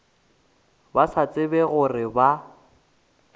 ba sa tsebe gore ba